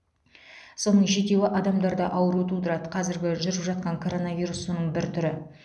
соның жетеуі адамдарда ауру тудырады казіргі жүріп жатқан коронавирус соның бір түрі